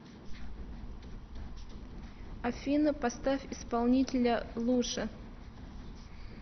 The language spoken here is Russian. афина поставь исполнителя луша